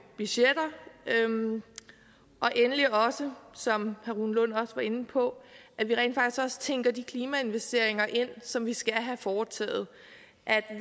budgetter og endelig også som herre rune lund var inde på at vi rent faktisk tænker de klimainvesteringer som vi skal have foretaget